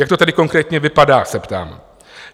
Jak to tedy konkrétně vypadá, se ptám?